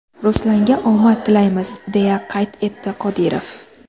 Ruslanga omad tilaymiz!” deya qayd etdi Qodirov.